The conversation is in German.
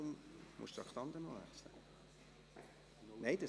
Nun kommen wir zu einem Ordnungsantrag der SVP.